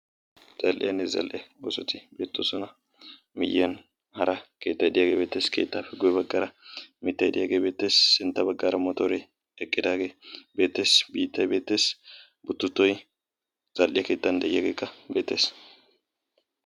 zal''iyanni zal''e goosoti beettoosona miyyiyani hara keettay diyaagee beettees keettaapi guyye baggara mittayi diyaagee beettees sintta baggaara motoore eqqidaagee beetees biittay beeteesi buttutoyi zal'e keettan de'iyaageekka beetees